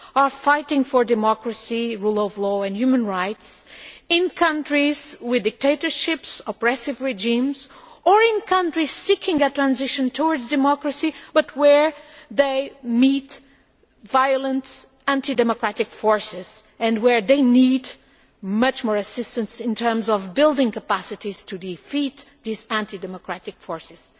in fighting for democracy, rule of law and human rights in countries with dictatorships or oppressive regimes, and in countries seeking a transition towards democracy, but where they meet violent anti democratic forces and where they need much more assistance in terms of building capacities to defeat these anti democratic forces.